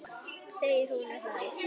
segir hún og hlær.